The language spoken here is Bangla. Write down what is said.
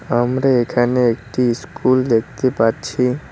আমরা এখানে একটি স্কুল দেখতে পাচ্ছি।